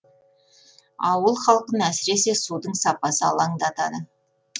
ауыл халқын әсіресе судың сапасы алаңдатады